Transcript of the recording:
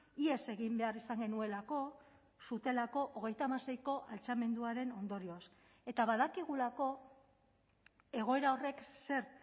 ihes egin behar izan genuelako zutelako hogeita hamaseiko altxamenduaren ondorioz eta badakigulako egoera horrek zer